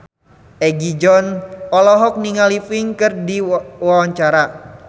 Egi John olohok ningali Pink keur diwawancara